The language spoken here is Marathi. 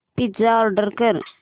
पिझ्झा ऑर्डर कर